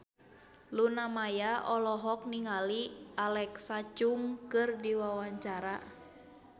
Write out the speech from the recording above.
Luna Maya olohok ningali Alexa Chung keur diwawancara